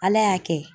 Ala y'a kɛ